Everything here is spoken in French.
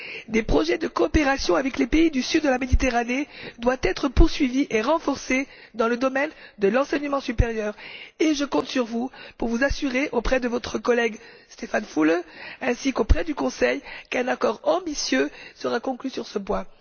Les projets de coopération avec les pays du sud de la Méditerranée doivent être poursuivis et renforcés dans le domaine de l'enseignement supérieur. Je compte sur vous pour vous assurer, auprès de votre collègue Stefan Füle ainsi qu'auprès du Conseil, qu'un accord ambitieux sera conclu sur ce point.